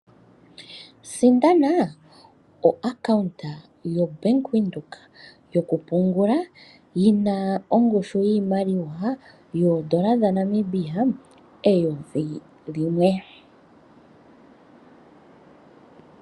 Sindana omayalulo gombaanga goBank Windhoek gokupungula, yi na ongushu yiimaliwa yoodola dhaNamibia eyovi limwe.